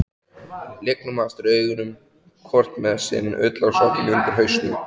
Lygnum aftur augunum, hvort með sinn ullarsokkinn undir hausnum.